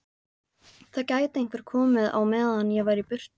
Það gæti einhver komið á meðan ég væri í burtu